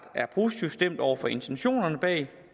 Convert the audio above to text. er positivt stemt over for intentionerne bag